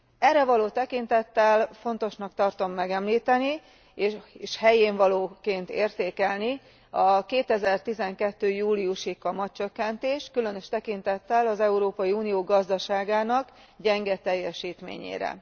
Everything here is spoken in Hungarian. Erre való tekintettel fontosnak tartom megemlíteni és helyénvalóként értékelni a 2012. júliusi kamatcsökkentést, különös tekintettel az Európai Unió gazdaságának gyenge teljesítményére.